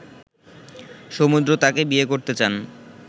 সমুদ্র তাকে বিয়ে করতে চান